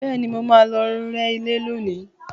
Bẹ́ẹ̀ni, mo máa lọ rẹ́ ilé lónìí